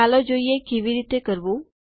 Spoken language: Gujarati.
ચાલો જોઈએ કેવી રીતે કરવું